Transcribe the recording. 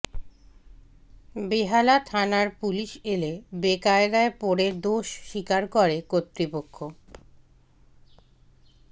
বেহালা থানার পুলিশ এলে বেকায়দায় পড়ে দোষ স্বীকার করে কর্তৃপক্ষ